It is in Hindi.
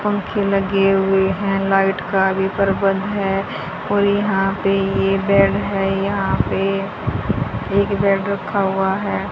पंखे लगे हुए हैं लाइट का भी प्रबंध है और यहां पे ये बैग है यहां पे एक बेड रखा हुआ है।